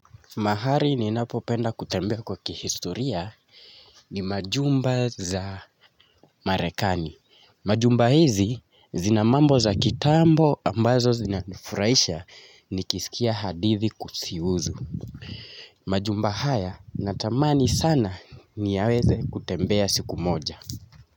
Mahari ninapopenda kutembea kwa kihistoria ni majumba za Marekani. Majumba hizi zina mambo za kitambo ambazo zinanufurahisha nikisikia hadithi kuzihusu. Majumba haya natamani sana niyaweze kutembea siku moja.